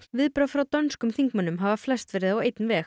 viðbrögð frá dönskum þingmönnum hafa flest verið á einn veg